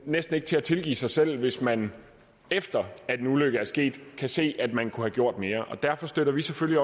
næsten ikke til at tilgive sig selv hvis man efter at en ulykke er sket kan se at man kunne have gjort mere og derfor støtter vi selvfølgelig